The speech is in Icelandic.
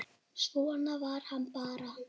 Svona var hann bara.